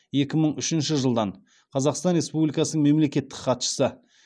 екі мың үшінші жылдан қазақстан республикасының мемлекеттік хатшысы